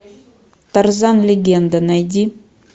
тарзан легенда найди